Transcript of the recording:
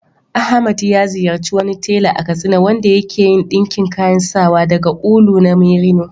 Ahmad ya ziyarci wani tela a Katsina wanda ya ke yin ɗinkin kayan sawa daga ulu na merino.